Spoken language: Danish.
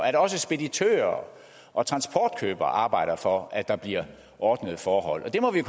at også speditører og transportkøbere arbejder for at der bliver ordnede forhold og det må vi i